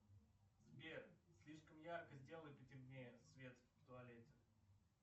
сбер слишком ярко сделай потемнее свет в туалете